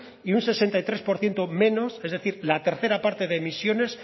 y un sesenta y tres por ciento menos es decir la tercera parte de emisiones